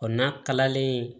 n'a kalalen